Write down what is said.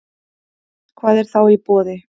Hvað er þá í boði